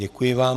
Děkuji vám.